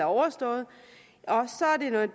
overstået